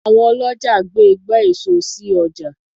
Àwọn ọlọ́jà gbé ìgbà èso sì ọjà.